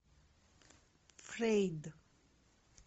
фрейд